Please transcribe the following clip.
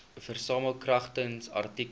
versamel kragtens artikel